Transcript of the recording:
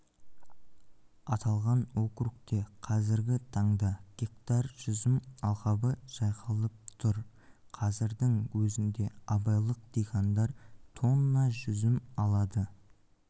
аталған округте қазіргі таңда гектар жүзім алқабы жайқалып тұр қазірдің өзінде абайлық диқандар тонна жүзім